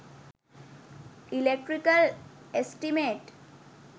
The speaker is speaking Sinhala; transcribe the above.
electrical estimate